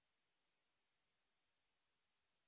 যারা অনলাইন পরীক্ষা পাস করে তাদের সার্টিফিকেট দেয়